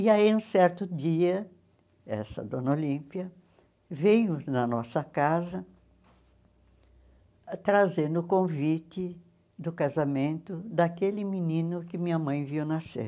E aí, um certo dia, essa dona Olímpia veio na nossa casa, trazendo o convite do casamento daquele menino que minha mãe viu nascer.